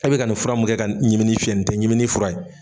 E bɛ ka nin fura mun kɛ ka ɲimini fiyɛ nin tɛ ɲimini fura ye.